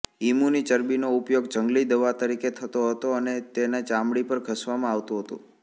ઇમુની ચરબીનો ઉપયોગ જંગલી દવા તરીકે થતો હતો અને તેને ચામડી પર ધસવામાં આવતું હતું